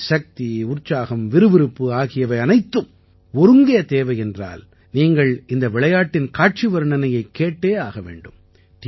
உங்களுக்கு சக்தி உற்சாகம் விறுவிறுப்பு ஆகியவை அனைத்தும் ஒருங்கே தேவை என்றால் நீங்கள் இந்த விளையாட்டுக்களின் காட்சி வர்ணனையைக் கேட்டே ஆக வேண்டும்